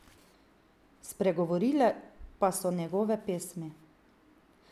Spregovorile pa so njegove pesmi.